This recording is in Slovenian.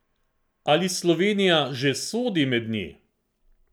Ali Slovenija že sodi med nje?